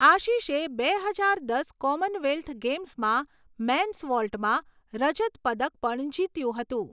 આશિષે બે હજાર દસ કોમનવેલ્થ ગેમ્સમાં મેન્સ વોલ્ટમાં રજત પદક પણ જીત્યું હતું.